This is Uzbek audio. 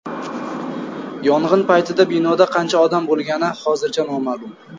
Yong‘in paytida binoda qancha odam bo‘lgani hozircha noma’lum.